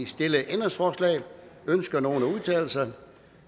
stillede ændringsforslag ønsker nogen at udtale sig